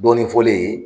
Dɔɔnin fɔlen ye